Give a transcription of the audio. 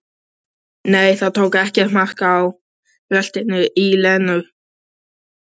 Nei, tók ekkert mark á bröltinu í Lenu.